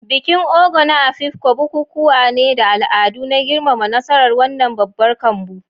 Bikin Ogo na Afikpo bukukuwa ne da al'adu na girmama nasarar wannan babbar kambu.